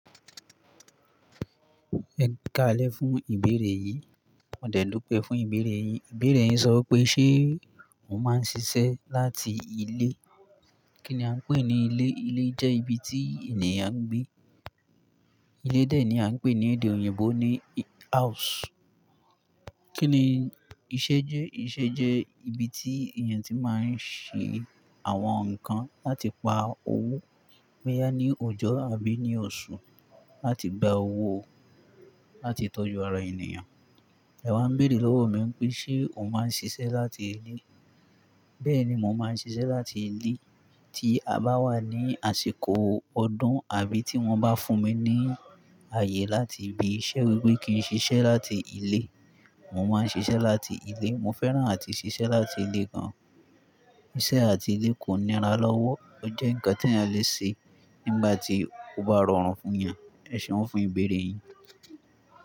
Ẹkaalẹ́ fún ìbéèrè yìí. Ọdẹ lò pẹ́ fún ìbéèrè yìí. Ìbéèrè yìn sọ wípé, "Ṣé o máa ń ṣiṣẹ́ láti ilé?" Kí ni a ń pè ní ilé? Ilé jẹ́ ibi tí ènìyàn gbé. Ilé dé ní a ń pè ní èdè òyìnbó ní house. Kí ni iṣẹ́ jẹ́? Iṣẹ́ jẹ́ ibi tí èèyàn tí máa ń ṣe àwọn nǹkan láti pa owó. Bóyá ní ọjọ́ àbí ní oṣù láti gba owó, láti tọ́jú ara ènìyàn. Ẹ wa béèrè lọ́wọ́ mi wípé ṣe o máa ń ṣiṣẹ́ láti ilé? Bẹ́ẹ̀ni, mo máa ń ṣiṣẹ́ láti ilé. Tí a bá wà ní àsìkò ọdún, àbí tí wọ́n bá fún mi ní ayé láti ibì iṣẹ́ wípé kí n ṣiṣẹ́ láti ilé, mo máa ń ṣiṣẹ́ láti ilé. Mo fẹ́ràn àti ṣiṣẹ́ láti ilé gan. Iṣẹ́ àti ilé kò níra lọ́wọ́. Ó jẹ́ nǹkan tí ẹ̀yàn le ṣe nígbà tí ó bá rọrùn fún ẹ̀yàn. Ẹ ṣéun fún ìbéèrè yín.